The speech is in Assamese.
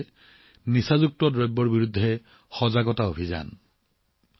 আৰু এইটোৱেই সাধাৰণ কাৰণ ড্ৰাগছৰ বিৰুদ্ধে সজাগতা অভিযান